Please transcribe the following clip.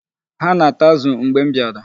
Ha na-ata azụ mgbe m bịara.